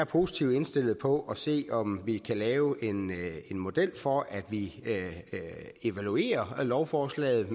positivt indstillet på at se om vi kan lave en model for at vi evaluerer lovforslaget